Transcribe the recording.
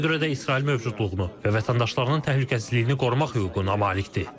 Buna görə də İsrail mövcudluğunu və vətəndaşlarının təhlükəsizliyini qorumaq hüququna malikdir.